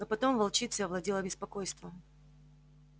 но потом волчицей овладело беспокойство